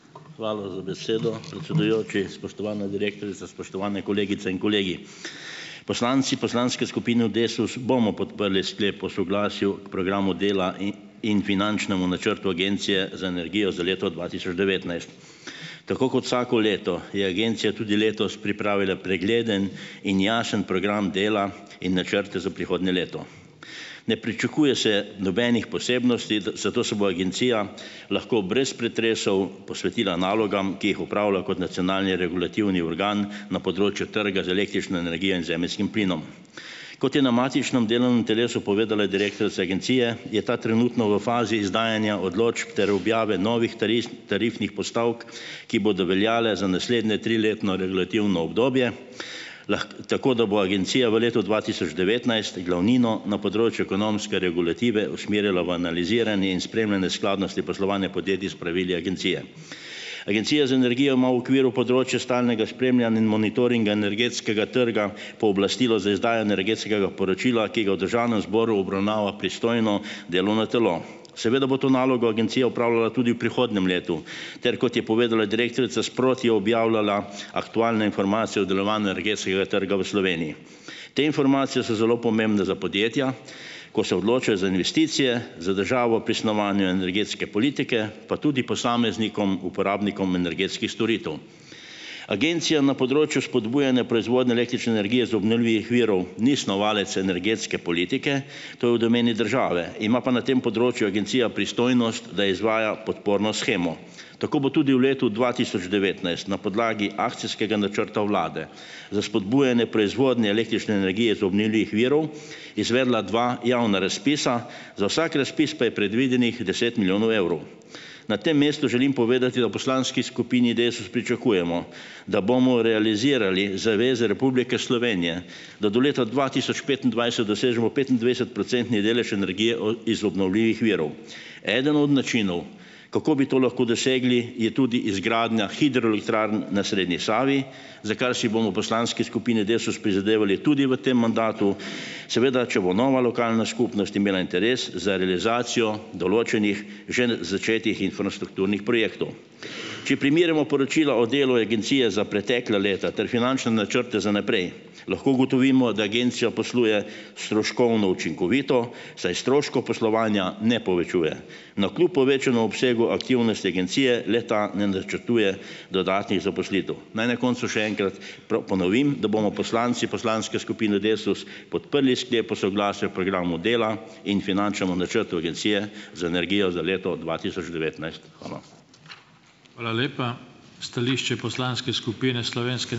Hvala za besedo. Predsedujoči, spoštovana direktorica, spoštovane kolegice in kolegi! Poslanci poslanke skupine Desus bomo podprli sklep o soglasju k programu dela in in finančnemu načrtu Agencije za energijo za leto dva tisoč devetnajst. Tako kot vsako leto je agencija tudi letos pripravila pregleden in jasen program dela in načrte za prihodnje leto. Ne pričakuje se nobenih posebnosti, da zato se bo agencija lahko brez pretresov posvetila nalogam, ki jih opravlja kot nacionalni regulativni organ na področju trga z električno energijo in zemeljskim plinom. Kot je na matičnem delovnem telesu povedala direktorica agencije, je ta trenutno v fazi izdajanja odločb ter objave novih tarifnih postavk, ki bodo veljale za naslednje triletno regulativno obdobje, lahko tako, da bo agencija v letu dva tisoč devetnajst glavnino na področju ekonomske regulative usmerjala v analizirani in spremljanje skladnosti poslovanja podjetij s pravili agencije. Agencija za energijo ima v okviru področja stalnega spremljanja in monitoringa energetskega trga pooblastilo za izdajo energetskega poročila, ki ga v državnem zboru obravnava pristojno delovno telo. Seveda bo to nalogo agencija opravljala tudi v prihodnjem letu ter, kot je povedala direktorica, sproti objavljala aktualne informacije o delovanju energetskega trga v Sloveniji. Te informacije so zelo pomembne za podjetja, ko se odločajo za investicije, za državo pri snovanju energetske politike pa tudi posameznikom uporabnikom energetskih storitev. Agencija na področju spodbujanja proizvodnje električne energije iz obnovlivih virov ni snovalec energetske politike, to je v domeni države, ima pa na tem področju agencija pristojnost, da izvaja podporno shemo. Tako bo tudi v letu dva tisoč devetnajst na podlagi akcijskega načrta vlade za spodbujanje proizvodnje električne energije iz obnovljivih virov izvedla dva javna razpisa. Za vsak razpis pa je predvidenih deset milijonov evrov. Na tem mestu želim povedati, da v poslanski skupini Desus pričakujemo, da bomo realizirali zaveze Republike Slovenije da do leta dva tisoč petindvajset dosežemo petindvajsetprocentni delež energije od iz obnovljivih virov. Eden od načinov, kako bi to lahko dosegli, je tudi izgradnja hidroelektrarn na srednji Savi, za kar si bomo v poslanski skupini Desus prizadevali tudi v tem mandatu, seveda če bo nova lokalna skupnost imela interes za realizacijo določenih že začetih infrastrukturnih projektov. Če primerjamo poročila o delu agencije za pretekla leta ter finančne načrte za naprej lahko ugotovimo, da agencija posluje stroškovno učinkovito, saj stroškov poslovanja ne povečuje. Navkljub povečanemu obsegu aktivnosti agencije le-ta ne načrtuje dodatnih zaposlitev. Naj na koncu še enkrat ponovim, da bomo poslanci poslanske skupine Desus podprli sklep o soglasju programu dela in finančnemu načrtu agencije za energijo za leto dva tisoč devetnajst. Hvala.